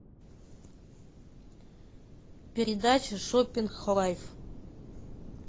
передача шоппинг лайф